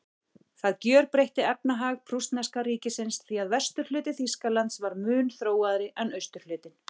Það gjörbreytti efnahag prússneska ríkisins, því að vesturhluti Þýskalands var mun þróaðri en austurhlutinn.